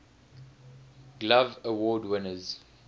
glove award winners